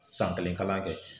San kelen kalan kɛ